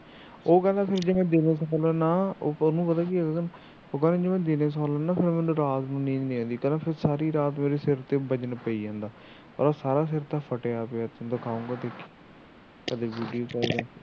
ਉਹ ਕਹਿੰਦਾ ਜੇ ਫੇਰ ਮੈ ਦਿਨੇ ਸੌਣਾ ਨਾ ਉਹਨੂੰ ਪਤਾ ਕੀ ਐ ਕਹਿੰਦਾ ਜੇ ਮੈ ਦਿਨੇ ਸੌਣਾ ਨਾ ਤਾ ਰਾਤ ਨੂੰ ਨੀਂਦ ਨਹੀ ਆਉਂਦੀ ਕਹਿੰਦਾ ਸਾਰੀ ਰਾਤ ਮੈੇਰੇ ਸਿਰ ਤੇ ਵਜਨ ਪਈ ਜਾਂਦਾ ਉਹਦਾ ਸਾਰਾ ਸਿਰ ਤਾ ਫਟਿਆ ਪਿਆ ਦਿਖਾਉਗਾ ਕਦੇ